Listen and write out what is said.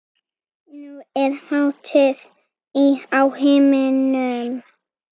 Nú er hátíð á himnum.